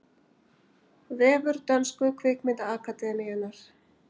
Vefur dönsku kvikmyndaakademíunnar